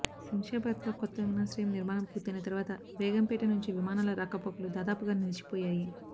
శంషాబాద్ లో కొత్త విమానాశ్రయం నిర్మాణం పూర్తయిన తర్వాత బేగంపేట నుంచి విమానాల రాకపోకలు దాదాపుగా నిలిచిపోయాయి